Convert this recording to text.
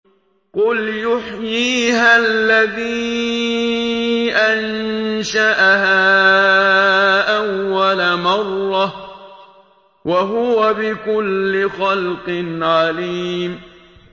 قُلْ يُحْيِيهَا الَّذِي أَنشَأَهَا أَوَّلَ مَرَّةٍ ۖ وَهُوَ بِكُلِّ خَلْقٍ عَلِيمٌ